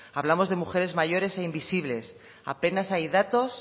hablamos de mujeres mayores e invisibles apenas hay datos